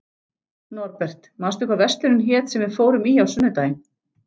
Norbert, manstu hvað verslunin hét sem við fórum í á sunnudaginn?